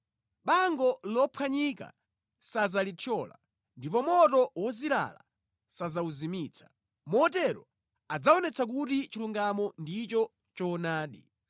Bango lophwanyika sadzalithyola, ndipo moto wozilala sadzawuzimitsa. Motero adzaonetsa kuti chilungamo ndicho choonadi;